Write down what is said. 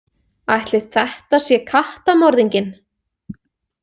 Ætli þetta sé kattamorðinginn?